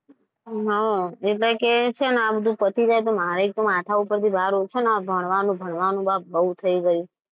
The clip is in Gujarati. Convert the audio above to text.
હા એટલે કે છે ને આ બધું પતી જાય તો મારે માથા પરથી બાર ઓછો થઈ જાય ભણવાનું ભણવાનું બહુ થઈ ગયું છે.